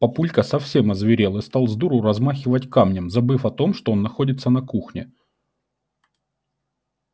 папулька совсем озверел и стал сдуру размахивать камнем забыв о том что он находится на кухне